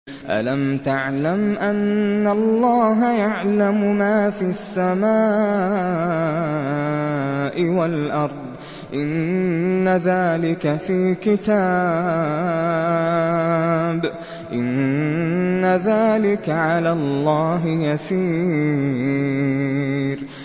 أَلَمْ تَعْلَمْ أَنَّ اللَّهَ يَعْلَمُ مَا فِي السَّمَاءِ وَالْأَرْضِ ۗ إِنَّ ذَٰلِكَ فِي كِتَابٍ ۚ إِنَّ ذَٰلِكَ عَلَى اللَّهِ يَسِيرٌ